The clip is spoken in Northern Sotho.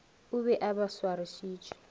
o be a ba swarišitše